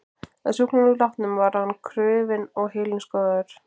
Að sjúklingnum látnum var hann krufinn og heilinn skoðaður.